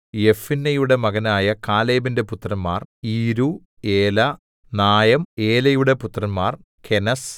യെഫുന്നെയുടെ മകനായ കാലേബിന്റെ പുത്രന്മാർ ഈരൂ ഏലാ നായം ഏലയുടെ പുത്രന്മാർ കെനസ്